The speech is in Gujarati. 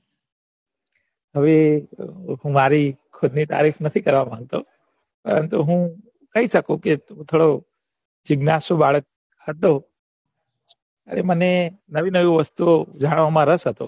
હવે મારી ખુદ ની તારીફ નથી કરવા માંગતો પરતું હું કહી સકું કે હું થોડો જીઘ્નાસુ બાળક હતો મને નવી નવી વસ્તુ ઓ જાણવામાં રસ હતો